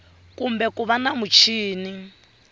kumbe ku va na muchini